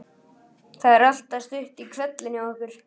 Það er alltaf stutt í hvellinn hjá okkur.